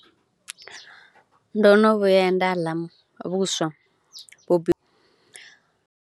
Ndo no vhuya nda ḽa vhuswa vhu bi .